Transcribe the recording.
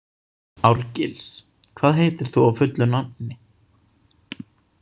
Árgils, hvað heitir þú fullu nafni?